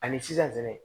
Ani sisan fɛnɛ